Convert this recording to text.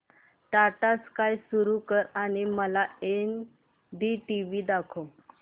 Tata sky सुरू कर आणि मला एनडीटीव्ही दाखव